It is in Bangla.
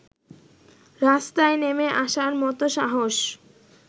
রাস্তায় নেমে আসার মতো সাহস